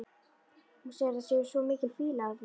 Hún segir að það sé svo mikil fýla af því.